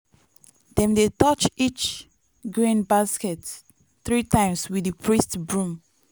dem dey touch each grain basket three times with di priest broom.